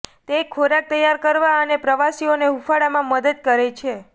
તે ખોરાક તૈયાર કરવા અને પ્રવાસીઓને હૂંફાળવામાં મદદ કરે છે